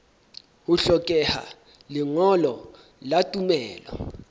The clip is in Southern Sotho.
ho hlokeha lengolo la tumello